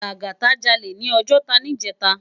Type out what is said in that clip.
Lagata jàlé ni Òjòtá nijètá